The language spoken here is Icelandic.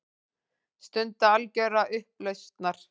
Stund algjörrar upplausnar.